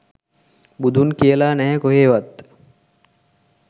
බුදුන් කියලා නැහැ කොහෙවත්